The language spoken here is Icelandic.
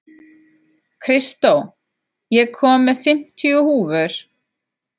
Kristó, ég kom með fimmtíu húfur!